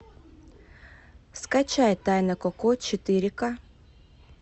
скачай тайна коко четыре ка